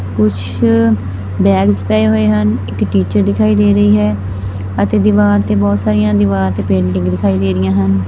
ਕੁਛ ਬੈਗਸ ਪਏ ਹੋਏ ਹਨ ਇੱਕ ਟੀਚਰ ਦਿਖਾਈ ਦੇ ਰਹੀ ਹੈ ਅਤੇ ਦੀਵਾਰ ਤੇ ਬਹੁਤ ਸਾਰੀਆਂ ਦੀਵਾਰ ਤੇ ਪੇਂਟਿੰਗ ਦਿਖਾਈ ਦੇ ਰਹੀਆਂ ਹਨ।